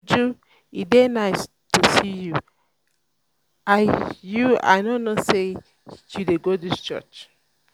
uju e dey um nice to see you i you i no know say you dey go dis church